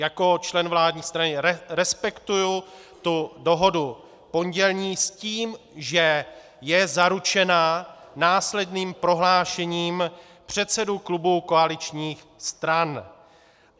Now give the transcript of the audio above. Jako člen vládní strany respektuji tu dohodu pondělní s tím, že je zaručena následným prohlášením předsedů klubů koaličních stran.